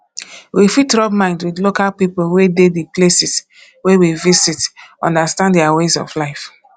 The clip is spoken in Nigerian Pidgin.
we fit rub mind with local people wey dey di places wey we visit understand their ways of life